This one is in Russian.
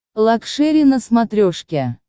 лакшери на смотрешке